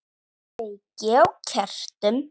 Kveiki á kertum.